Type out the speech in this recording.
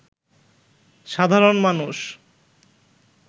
সাধারণ মানুষ